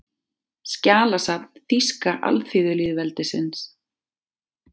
Skjalasafn Þýska alþýðulýðveldisins